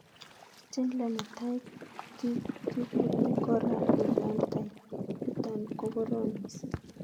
Schindler netai, ko kikuree kora infantile , nitok ko korom mising,